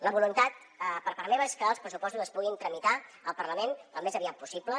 la voluntat per part meva és que els pressupostos es puguin tramitar al parlament al més aviat possible